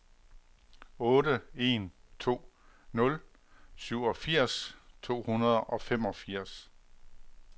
otte en to nul syvogfirs to hundrede og femogfirs